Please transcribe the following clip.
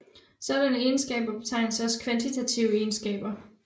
Sådanne egenskaber betegnes også kvantitative egenskaber